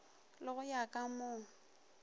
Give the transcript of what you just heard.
le go ya ka mo